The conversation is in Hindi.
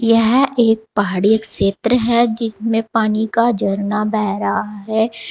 यह एक पहाड़ी क्षेत्र है जिसमें पानी का झरना बह रहा है।